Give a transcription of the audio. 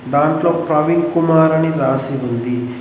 దాంట్లో ప్రవీణ్ కుమార్ అని రాసి ఉంది.